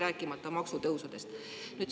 Rääkimata maksutõusudest.